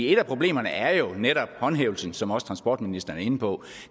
et af problemerne er jo netop håndhævelsen som også transportministeren er inde på